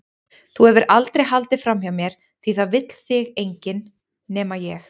Þú hefur aldrei haldið framhjá mér því það vill þig enginn- nema ég.